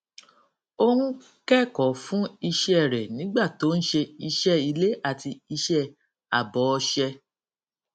ó ń kẹkọọ fún iṣẹ rẹ nígbà tí ó ń ṣe iṣẹ ilé àti iṣẹ àbòọṣẹ